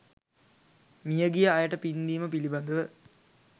මියගිය අයට පින්දීම පිළිබඳ